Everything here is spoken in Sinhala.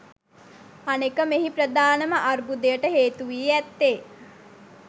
අනෙක මෙහි ප්‍රධානම අර්බුදයට හේතුවී ඇත්තේ